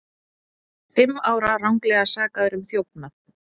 Fimm ára ranglega sakaður um þjófnað